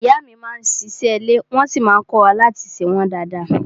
Ìyá mi má n ṣe ìṣe ilé wọ́n sí má n kọ́wa láti ṣe wọ́n dada.